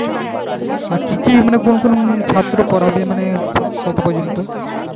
আর কি কি মনে কোন কোন ছাত্র পড়াবি মানে কত পর্যন্ত?